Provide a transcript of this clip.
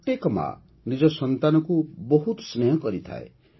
ପ୍ରତ୍ୟେକ ମା' ନିଜ ସନ୍ତାନକୁ ବହୁତ ସ୍ନେହ କରିଥାଏ